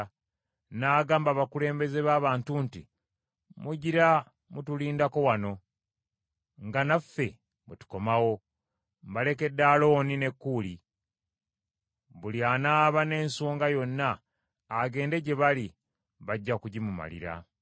N’agamba abakulembeze b’abantu nti, “Mugira mutulindako wano nga naffe bwe tukomawo. Mbalekedde Alooni ne Kuuli; buli anaaba n’ensonga yonna agende gye bali, bajja kugimumalira.”